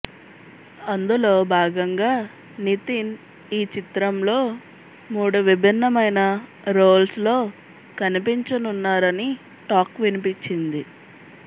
అందులో భాగంగా నితిన్ ఈ చిత్రంలో మూడు విభిన్నమైన రోల్స్ లో కనిపించనున్నారని టాక్ వినిపించింది